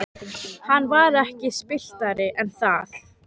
Hann var ekki spilltari en það.